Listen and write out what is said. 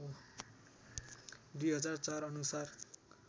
२००४ अनुसार